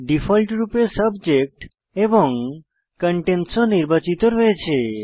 ডিফল্টরূপে সাবজেক্ট এবং কন্টেইনস ও নির্বাচিত রয়েছে